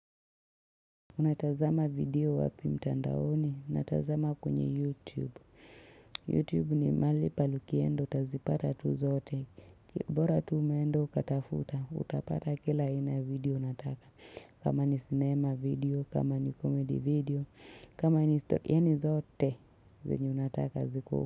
Unatazama video wapi mtandaoni, unatazama kwenye YouTube. YouTube ni mahali pahali ukienda, utazipata tu zote. Bora tu umeenda, ukatafuta, utapata kila aina ya video unataka. Kama ni cinema video, kama ni comedy video, kama ni story, yaani zote, zenye unataka ziko.